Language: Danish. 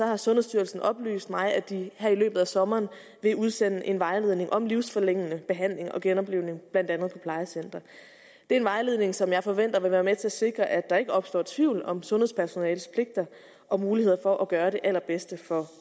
har sundhedsstyrelsen oplyst mig at de her i løbet af sommeren vil udsende en vejledning om livsforlængende behandling og genoplivning blandt andet på plejecentre det er en vejledning som jeg forventer vil være med til at sikre at der ikke opstår tvivl om sundhedspersonalets pligter og muligheder for at gøre det allerbedste for